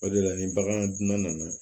O de la ni bagan dun na na